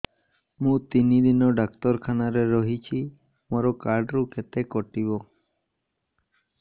ମୁଁ ତିନି ଦିନ ଡାକ୍ତର ଖାନାରେ ରହିଛି ମୋର କାର୍ଡ ରୁ କେତେ କଟିବ